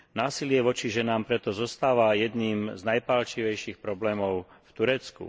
Násilie voči ženám preto zostáva jedným z najpálčivejších problémov v Turecku.